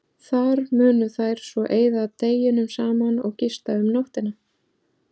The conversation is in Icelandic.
Þar munu þær svo eyða deginum saman og gista um nóttina.